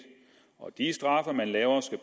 og de straffe man laver skal